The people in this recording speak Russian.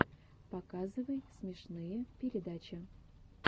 показывай смешные передачи